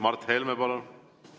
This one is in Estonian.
Mart Helme, palun!